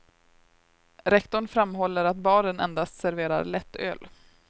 Rektorn framhåller att baren endast serverar lättöl.